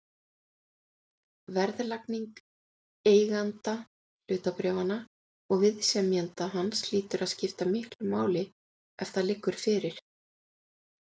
Verðlagning eiganda hlutabréfanna og viðsemjenda hans hlýtur að skipta miklu máli ef það liggur fyrir.